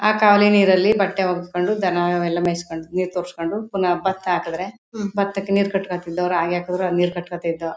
ಆ ಕಾವಲಿ ನೀರಲ್ಲಿ ಬಟ್ಟೆ ಒಗಸ್ಕೊಂಡು ದನ ಎಲ್ಲಾ ಮೇಯಿಸ್ಕೊಂಡು ನೀರ್ ತೋಶ್ಕೊಂಡು ಪುನಃ ಬತ್ತ ಹಾಕಿದ್ರೆ ಬತಕ್ಕೆ ನೀರ್ ಕಟ್ಕಥ ಇದ್ದೋ ರಾಗಿ ಹಾಕಿದ್ರೆ ನೀರ್ ಕಟ್ಕಥ ಇದ್ದೋ.